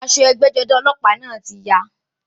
Aṣọ ẹgbẹ́-jọdá ọlọ́pàá náà ti ya.